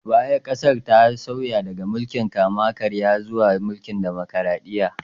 A baya, ƙasar ta sauya daga mulkin kama-karya zuwa mulkin demokraɗiyya